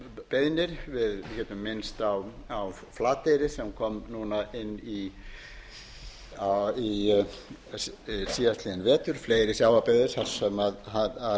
beiðnir við getum minnst á flateyri sem kom núna inn síðastliðinn vetur fleiri sjávarbyggðir þar sem reynt